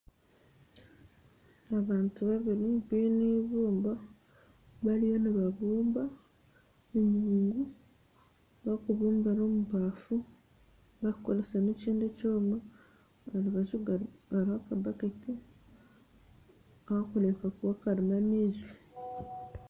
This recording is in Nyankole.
Abantu babiri baine eibumba bariyo nibabumba enyungu barikukosesa ebafu n'ekindi ekyoma. Aharubaju hariho akabakeeti karimu amaizi